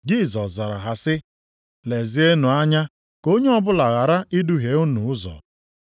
Jisọs zara ha sị, “Lezienụ anya ka onye ọbụla ghara iduhie unu ụzọ.